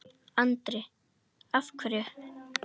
Andri: Af hverju?